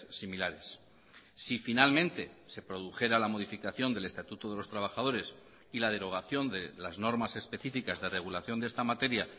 similares si finalmente se produjera la modificación del estatuto de los trabajadores y la derogación de las normas específicas de regulación de esta materia